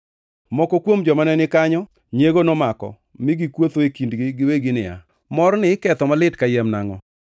Moko kuom joma ne ni kanyo nyiego nomako mi gikuotho e kindgi giwegi niya, “Morni iketho malit kayiem nangʼo?